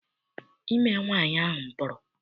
Ime nwaanyị ahụ pụrụ.